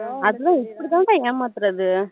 அதுதான் இப்படி தான் அக்கா ஏமாத்தூறது